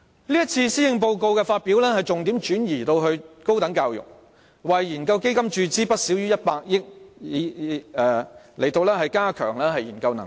這次發表的施政報告把重點轉移至高等教育，為研究基金注資不少於100億元，以加強研究能力。